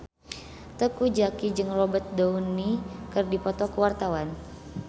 Teuku Zacky jeung Robert Downey keur dipoto ku wartawan